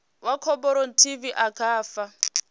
wa khophorethivi a nga fha